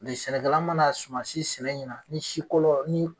Mɛ sɛnɛkɛla mana suma si sɛnɛ ɲiɲa ni sik or ni.